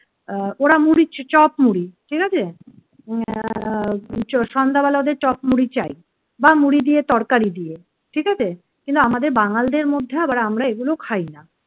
আহ ওরা মুড়ি চপ মুড়ি ঠিক আছে আহ সন্ধ্যাবেলা ওদের চপ মুড়ি চাই বা মুড়ি দিয়ে তরকারি দিয়ে। ঠিক আছে কিন্তু আমাদের বাঙ্গালদের মধ্যে আবার আমরা এগুলো খাই না।